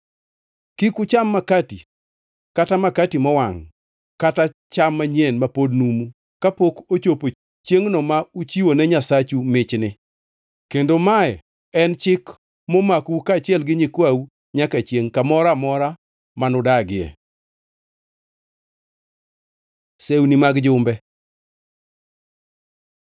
Kik ucham makati, kata makati mowangʼ kata cham manyien ma pod numu, kapok ochopo chiengʼ ma uchiwone Nyasachu michni. Kendo mae en chik momakou kaachiel gi nyikwau nyaka chiengʼ kamoro amora manudagie. Sewni mag Jumbe